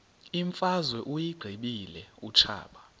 imfazwe uyiqibile utshaba